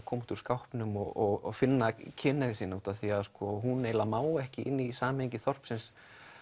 koma út úr skápnum og finna kynhneigð sína út af því að hún má ekki inn í samhengi þorpsins